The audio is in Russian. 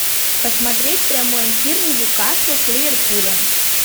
посмотреть прямой эфир ньюкасл с ливерпулем